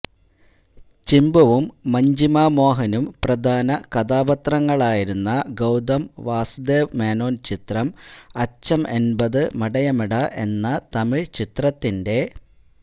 ചിമ്പുവും മഞ്ജിമ മോഹനും പ്രധാന കഥാപാത്രങ്ങളാരുന്ന ഗൌതം വാസുദേവ് മേനോന് ചിത്രം അച്ചം എന്പത് മടയമെടാ എന്ന തമിഴ് ചിത്രത്തിന്റെ